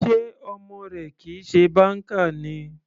Sé ọmọ rẹ kìí ṣe banker ni.